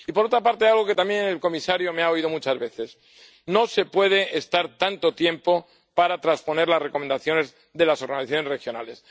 Y, por otra parte, quiero reiterar algo que también el comisario me ha oído muchas veces no se puede estar tanto tiempo para transponer las recomendaciones de las organizaciones regionales.